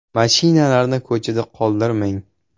Mashinalarni ko‘chada qoldirmang.